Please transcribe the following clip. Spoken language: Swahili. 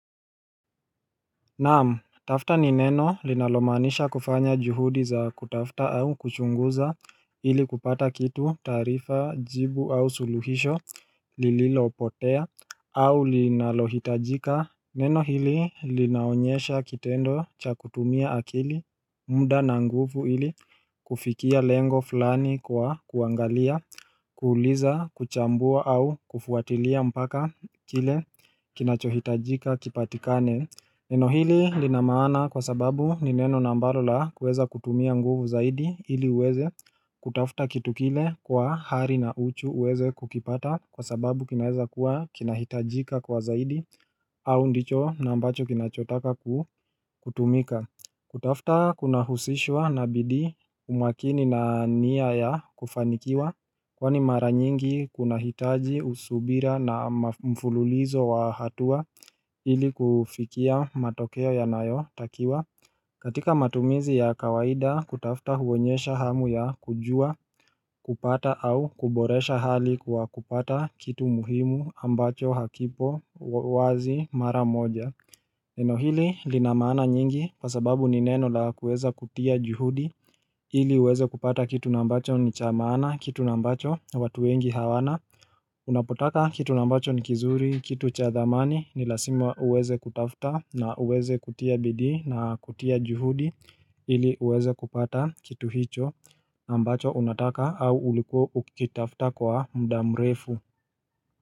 Naamu, tafta ni neno linalomanisha kufanya juhudi za kutafta au kuchunguza ili kupata kitu tarifa jibu au suluhisho lililo potea au linalohitajika Neno hili linaonyesha kitendo cha kutumia akili mda na nguvu hili kufikia lengo fulani kwa kuangalia, kuuliza, kuchambua au kufuatilia mpaka kile kinachohitajika kipatikane Neno hili linamana kwa sababu nineno nambalo la kweza kutumia nguvu zaidi hili uweze kutafuta kitu kile kwa hari na uchu uweze kukipata kwa sababu kinaweza kuwa kinahitajika kwa zaidi au ndicho na mbacho kinachotaka kutumika Kutafta kuna husishwa na bidi umakini na nia ya kufanikiwa kwani mara nyingi kuna hitaji usubira na mfululizo wa hatua ili kufikia matokeo ya nayo takiwa katika matumizi ya kawaida kutafta huonyesha hamu ya kujua kupata au kuboresha hali kwa kupata kitu muhimu ambacho hakipo wazi mara moja Neno hili linamana nyingi kwa sababu nineno la kuweza kutia juhudi ili uweze kupata kitu nambacho ni chamana kitu nambacho watu wengi hawana Unapotaka kitu nambacho ni kizuri kitu chathamani nilasima uweze kutafta na uweze kutia bidi na kutia juhudi ili uweze kupata kitu hicho ambacho unataka au uliko ukitafta kwa mdamrefu.